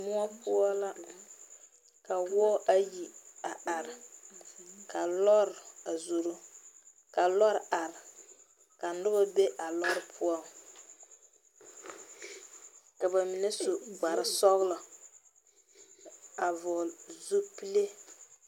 Muo poʊ la ka woɔ ayi a are. Ka lɔre a zoro. Ka lɔre are ka noba be a lɔre poʊ. Ka ba mene su kpar sɔglɔ a vogle zupule